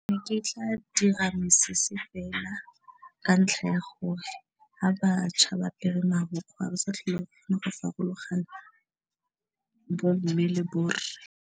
Ne ke tla dira mesese fela ka ntlha ya gore ha bašwa ba apere marukgwe ba sa tlhola banna ka farologana bo mme le borre.